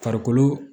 Farikolo